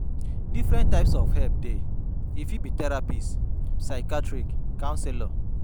Different types of help dey, e fit be therapist, psychiathrist, councelor